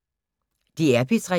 DR P3